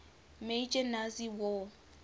major nazi war